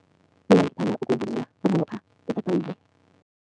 Mina ngithanda ukuwubukela bunqopha etatawini.